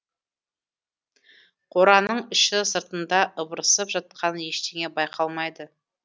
қораның іші сыртында ыбырсып жатқан ештеңе байқалмайды